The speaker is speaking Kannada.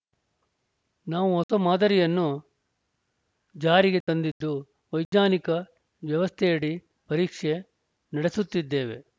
ನಾವು ಹೊಸ ಮಾದರಿಯನ್ನು ಜಾರಿಗೆ ತಂದಿದ್ದು ವೈಜ್ಞಾನಿಕ ವ್ಯವಸ್ಥೆಯಡಿ ಪರೀಕ್ಷೆ ನಡೆಸುತ್ತಿದ್ದೇವೆ